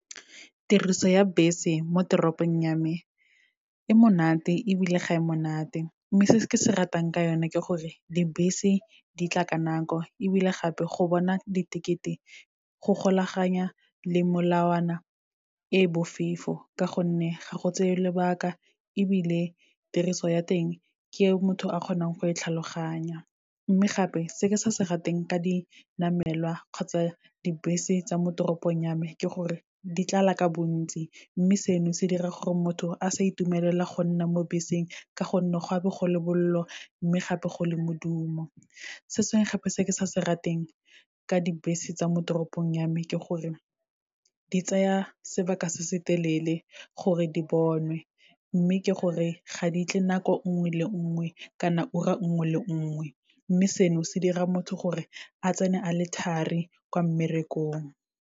Tiriso ya bese mo teropong ya me, e monate ebile ga e monate. Mme se se ke se ratang ka yone ke gore, dibese di tla ka nako ebile gape go bona di-ticket-e go golaganya le molawana e bofefo, ka gonne ga go tseye lobaka, ebile tiriso ya teng ke e motho a kgonang go e tlhaloganya. Mme gape, se ke sa se rateng ka dinamelwa kgotsa dibese tsa mo toropong ya me, ke gore di tlala ka bontsi, mme seno se dira gore motho a sa itumelela go nna mo beseng, ka gonne go a be go le bolelo, mme gape go le modumo. Se sengwe gape se ke sa se rateng ka dibese tsa mo toropong ya me, ke gore di tsaya sebaka se se telele gore di bonwe, mme ke gore ga di tle nako nngwe le nngwe, kana ura nngwe le nngwe. Mme seno, se dira motho gore a tsene a le thari ko mmerekong.